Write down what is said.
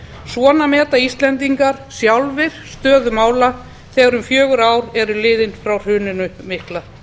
svona meta íslendingar sjálfir stöðu mála þegar um fjögur ár eru liðin frá hruninu mikla